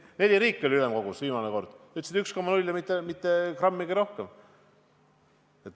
Viimasel korral oli ülemkogus neli riiki, kes ütlesid 1,0% ja mitte grammigi rohkem.